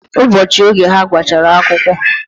Ụbọọchi oge ha gbachara akwukwo,